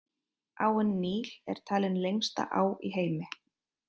Áin Níl er talin lengsta á í heimi.